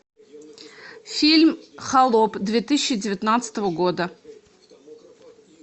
фильм холоп две тысячи девятнадцатого года